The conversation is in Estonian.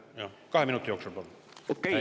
Kahe minuti jooksul, palun!